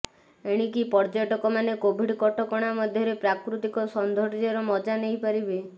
ଏଣିକି ପର୍ଯ୍ୟଟକମାନେ କୋଭିଡ କଟକଣା ମଧ୍ୟରେ ପ୍ରାକୃତିକ ସୌନ୍ଦର୍ୟ୍ୟର ମଜା ନେଇପାରିବେ